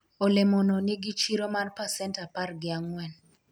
olemo no nigi chiro mar pacent apar gi ang'wen